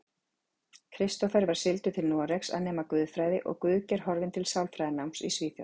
Kristófer var sigldur til Noregs að nema guðfræði og Guðgeir horfinn til sálfræðináms í Svíþjóð.